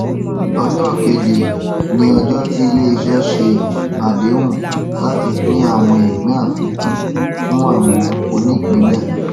ọjọ ìkéde ni ọjọ tí iléiṣẹ ṣe àdéhùn láti pínpín àwọn ìpín àfikún fún àwọn onípínlẹ